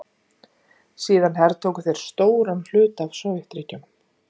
Síðan hertóku þeir stóran hluta af Sovétríkjunum.